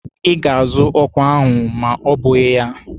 Ị ga-azụ ọkwa ahụ ma ọ bụghị ya!